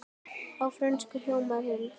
Á frönsku hljómar hún svona